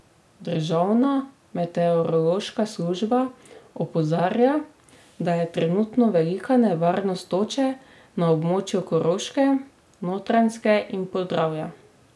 Državna meteorološka služba opozarja, da je trenutno velika nevarnost toče na območju Koroške, Notranjske in Podravja.